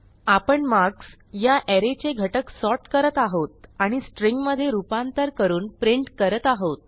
आपण मार्क्स ह्या अरे चे घटक सॉर्ट करत आहोत आणि स्ट्रिंग मधे रूपांतर करून प्रिंट करत आहोत